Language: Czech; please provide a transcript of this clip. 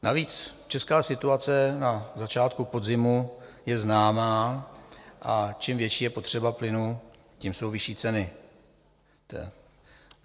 Navíc česká situace na začátku podzimu je známá a čím větší je potřeba plynu, tím jsou vyšší ceny.